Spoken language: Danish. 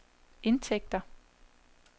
indtægter